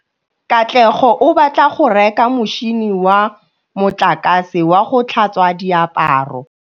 Katlego o batla go reka motšhine wa motlakase wa go tlhatswa diaparo.